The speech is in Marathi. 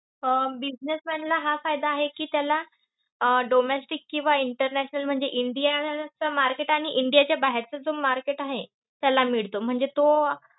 अं businessman ला हा फायदा आहे कि त्याला अं domestic किंवा international म्हणजे india चं market आणि india च्या बाहेरचं जे market आहे, त्याला मिळतं.